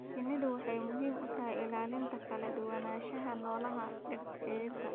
Shinnidu waxay muhiim u tahay ilaalinta kala duwanaanshaha noolaha ee dhirta.